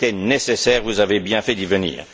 C'était nécessaire, vous avez bien fait d'y venir.